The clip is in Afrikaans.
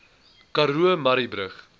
karoo murrayburg